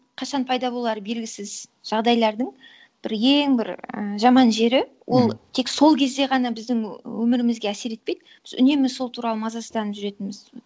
қашан пайда болары белгісіз жағдайлардың бір ең бір і жаман жері ол тек сол кезде ғана біздің өмірімізге әсер етпейді үнемі сол туралы мазасызданып жүретініміз